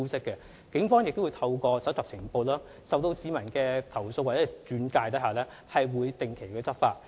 警方亦會透過收集情報，在市民投訴或轉介後展開調查及跟進行動。